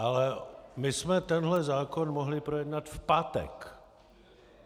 Ale my jsme tenhle zákon mohli projednat v pátek.